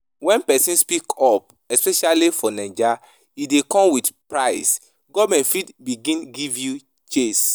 When person speak up especially for naija e dey come with price, government fit begin give you chase